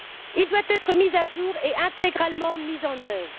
Il doit être mis à jour et intégralement mis en œuvre.